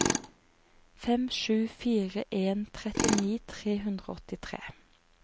fem sju fire en trettini tre hundre og åttitre